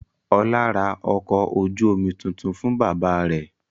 Ọlá ra ọkọ̀ ojú-omi tuntun fún bàbá rẹ̀.